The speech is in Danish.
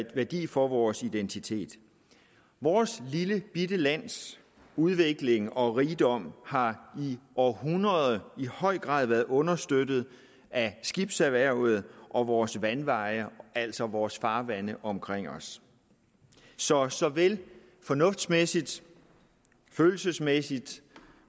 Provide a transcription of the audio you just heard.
værdi for vores identitet vores lillebitte lands udvikling og rigdom har i århundreder i høj grad været understøttet af skibserhvervet og vores vandveje altså vores farvande omkring os så såvel fornuftsmæssigt som følelsesmæssigt og